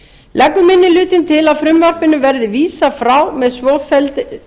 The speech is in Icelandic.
leggur minni hlutinn til að frumvarpinu verði vísað frá með svofelldri